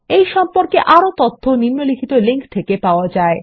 এই সম্পর্কে আরও তথ্য নিম্নলিখিত লিঙ্ক থেকে পাওয়া যায়